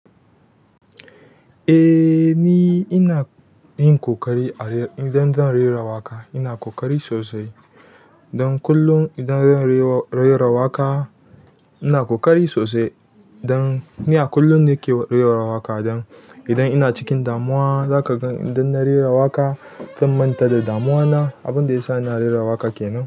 Eh ni ina yin ƙoƙari idan zan rera waƙa, ina ƙoƙari sosai. Don kullum idan zan rera waƙa ina ƙoƙari sosai. Don ni a kullum ne ke rera waƙa idan ina cikin damuwa, za ka gan idan na rera waƙa zan manta da damuwana. Abunda yasa ina rera waƙa kenan.